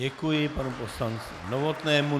Děkuji panu poslanci Novotnému.